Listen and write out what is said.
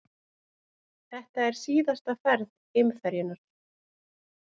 Þetta er síðasta ferð geimferjunnar